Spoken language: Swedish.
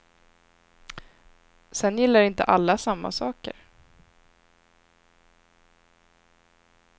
Sedan gillar inte alla samma saker.